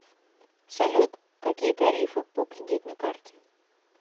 салют какие тарифы по кредитной карте